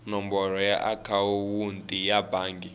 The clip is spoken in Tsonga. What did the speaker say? nomboro ya akhawunti ya bangi